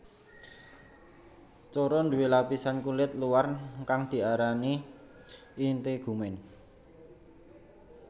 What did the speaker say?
Coro nduwé lapisan kulit luar kang diarani integumen